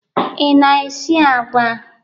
Ị na-esi agwa?